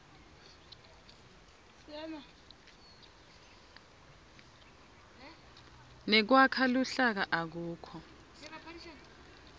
nekwakha luhlaka akukho